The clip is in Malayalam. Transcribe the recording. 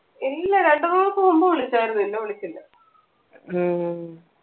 ഇല്ല രണ്ട് മൂന്ന് ദിവസം മുമ്പ് വിളിച്ചാരുന്നു പിന്നെ വിളിച്ചില്ല ഉം